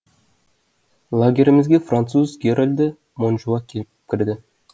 лагерімізге француз герольді монжуа келіп кірді